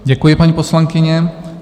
Děkuji, paní poslankyně.